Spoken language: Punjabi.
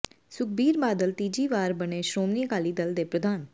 ਸੁਖਬੀਰ ਬਾਦਲ ਤੀਜੀ ਵਾਰ ਬਣੇ ਸ਼੍ਰੋਮਣੀ ਅਕਾਲੀ ਦਲ ਦੇ ਪ੍ਰਧਾਨ